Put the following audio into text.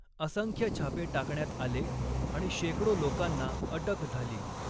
असंख्य छापे टाकण्यात आले आणि शेकडो लोकांना अटक झाली.